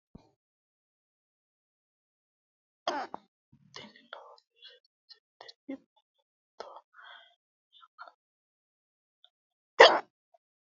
tini lowo geeshsha biiffannoti dancha gede biiffanno footo danchu kaameerinni haa'noonniti qooxeessa biiffannoti tini kultannori maatiro seekkine la'niro biiffannota faayya ikkase kultannoke misileeti yaate